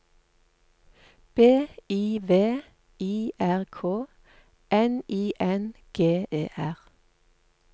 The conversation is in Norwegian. B I V I R K N I N G E R